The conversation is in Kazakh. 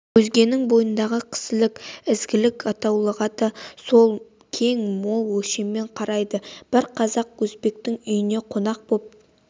өзгенің бойындағы кісілік ізгілік атаулыға да сол кең-мол өлшеммен қарайды бір қазақ өзбектің үйіне қонақ боп